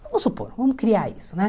Vamos supor, vamos criar isso, né?